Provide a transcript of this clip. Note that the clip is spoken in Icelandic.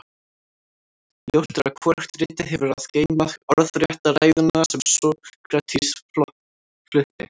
ljóst er að hvorugt ritið hefur að geyma orðrétta ræðuna sem sókrates flutti